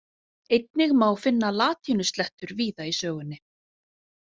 Einnig má finna latínuslettur víða í sögunni.